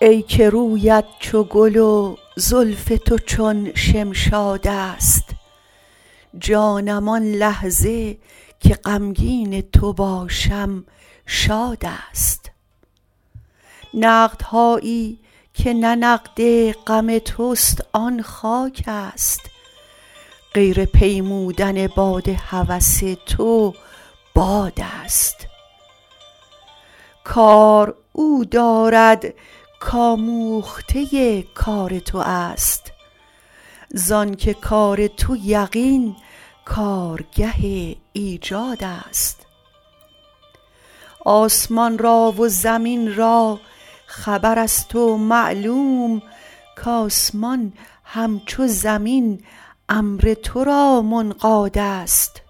ای که رویت چو گل و زلف تو چون شمشادست جانم آن لحظه که غمگین تو باشم شادست نقدهایی که نه نقد غم توست آن خاکست غیر پیمودن باد هوس تو بادست کار او دارد کاموخته کار توست زانک کار تو یقین کارگه ایجادست آسمان را و زمین را خبرست و معلوم کآسمان همچو زمین امر تو را منقادست